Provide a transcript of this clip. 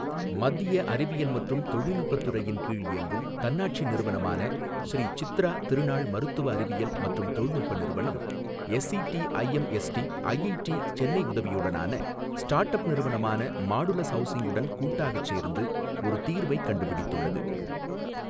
மத்திய அறிவியல் மற்றும் தொழில்நுட்பத் துறையின் கீழ் இயங்கும், தன்னாட்சி நிறுவனமான, ஶ்ரீ சித்ரா திருநாள் மருத்துவ அறிவியல் மற்றும் தொழில்நுட்ப நிறுவனம் எஸ்சிடிஐஎம்எஸ்டி, ஐஐடி சென்னை உதவியுடனான ஸ்டார்ட் அப் நிறுவனமான மாடுலஸ் ஹவுசிங் உடன் கூட்டாகச் சேர்ந்து ஒரு தீர்வைக் கண்டுபிடித்துள்ளது.